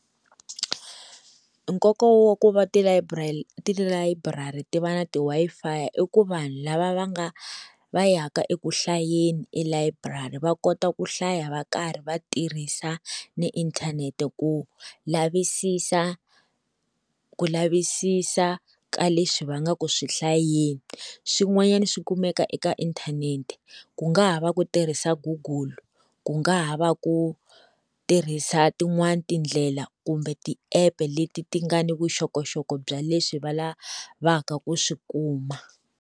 Nkoka wa ku va tilayiburari ti va ti Wi-Fi i ku vanhu lava va nga va yaka eku hlayeni elayiburari va kota ku hlaya va karhi va tirhisa na inthanete, ku lavisisa ku lavisisa ka leswi va nga ku swi hlayeni. Swin'wanyana swi kumeka eka inthanete ku nga ha va ku tirhisa google, ku nga ha va ku tirhisa tin'wani tindlela kumbe tiepu leti ti nga ni vuxokoxoko bya leswi va lavaka ku swi kuma.